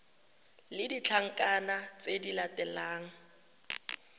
le ditlankana tse di latelang